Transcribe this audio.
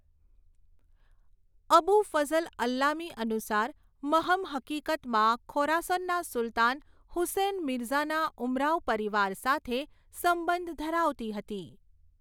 અબુ ફઝ્લ અલ્લામી અનુસાર, મહમ હકીકતમાં ખોરાસનના સુલતાન હુસૈન મિરઝાના ઉમરાવ પરિવાર સાથે સંબંધ ધરાવતી હતી.